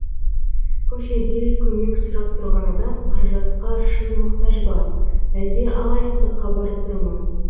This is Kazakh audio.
көшеде көмек сұрап тұрған адам қаражатқа шын мұқтаж ба әлде алаяқтыққа барып тұр ма